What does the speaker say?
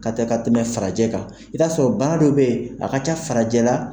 Ka tɛ ka tɛmɛ farajɛ kan, i bɛ t'a sɔrɔ bana dɔ bɛ yen a ka ca farajɛ la,